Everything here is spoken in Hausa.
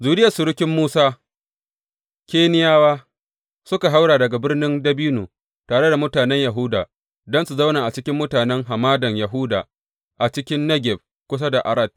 Zuriyar surukin Musa, Keniyawa, suka haura daga Birnin dabino tare da mutanen Yahuda don su zauna cikin mutanen Hamadan Yahuda a cikin Negeb kusa da Arad.